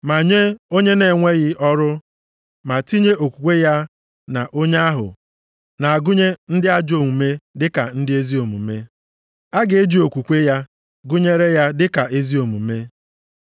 Ma nye onye na-enweghị ọrụ ma tinye okwukwe ya na onye ahụ na-agụnye ndị ajọọ omume dịka ndị ezi omume, a ga-eji okwukwe ya gụnyere ya dịka ezi omume.